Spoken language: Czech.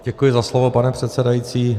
Děkuji za slovo, pane předsedající.